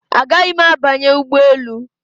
Agaghị m abanye ụgbọ elu